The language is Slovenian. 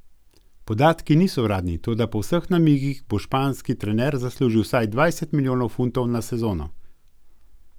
Podatki niso uradni, toda po vseh namigih bo španski trener zaslužil vsaj dvajset milijonov funtov na sezono.